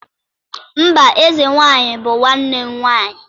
mba eze nwanyi bu nwanne m nwanyi